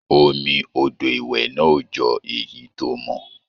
Omi odò ìwẹ̀ náà ò jọ èyí tó mọ́.